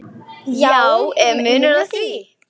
Já, er munur á því?